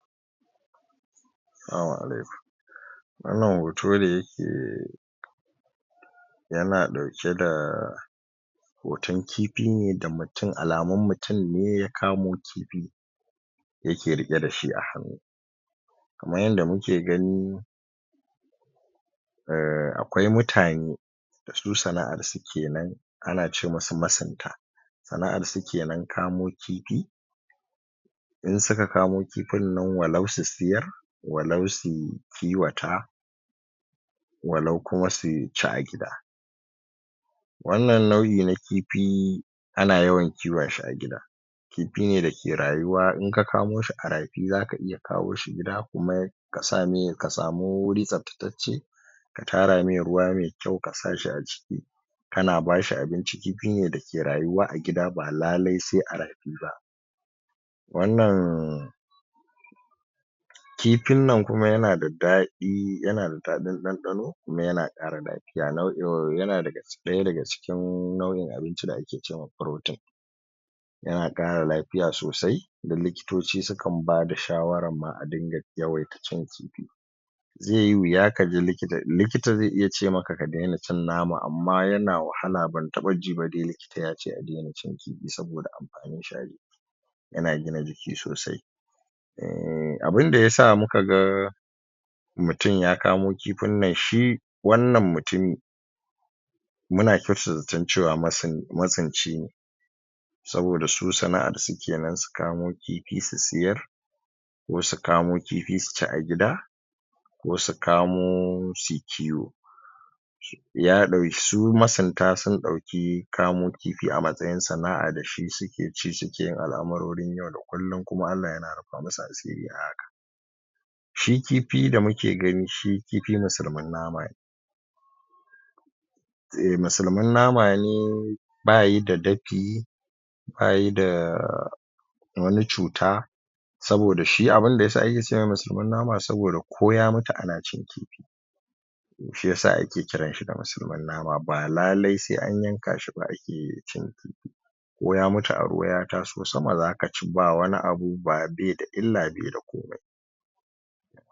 Salamu alaikum wannan hoto ne yake yana ɗauke da hoton kifi ne da mutun, alamun mutun ne ya kamo kifi yake riƙe da shi a hannu kaman yadda muke gani ahh, akwai mutane da su sana'ar su kenan ana ce musu masunta sana'ar su kenan kamo kifi in suka kamo kifin nan, walau su siyar walau su kiwata walau kuma su ci ga gida wannan nau'i na kifi ana yawan kiwon shi a gida kifi ne da ke rayuwa, in ka kamo shi a rafi zaka iya kawo shi gida kuma ka samu wuri tsabtacacce ka tara me ruwa me kyau, ka sa shi a ciki kana ba shi abinci, kifi ne da ke rayuwa a gida, ba lale sai a rafi ba wannan kifin nan kuma yana da daɗi, yana da daɗin ɗanɗano, kuma yana ƙara daɗi ga nau'in, yana ɗaya daga cikin nau'in abinci da ake ce ma protein yana ƙara lafiya sosai da likitoci su kan bada shawaran ma a dinga yawaita cin kifi ze yi wuya kaji likita, likita zai iya ce maka ka daina cin nama, amma yana wahala, ban taɓa ji ba dai likita yace a dena cin kifi saboda amfanin shi a jiki yana gina jiki sosai uhmm, abinda yasa muka ga mutun ya kamo kifin nan shi wannan mutumi muna kyautata zaton cewa masunci ne saboda su sana'ar su kenan, su kamo kifi su siyar ko su kamo kifi su ci a gida ko su kamo su yi kiwo ya ɗauki, su masunta sun ɗauki kamo kifi a matsayin sana'a, da shi suke ci suke yin al'amurorin yau da kullun, kuma Allah yana rufa musu asiri a haka shi kifi da muke gani, shi kifi musulmin nama ne musulmin nama ne bayi da dafi bayi da wani cuta saboda shi abinda yasa ake ce mai musulmin nama ne saboda ko ya mutu ana cin kifi shi yasa ake kiran shi da musulmin nama ba lalai sai an yanka shi ba ake iya cin kifi ko ya mutu a ruwa ya taso sama zaka ci, ba wani abu, bai da illa bai da komai.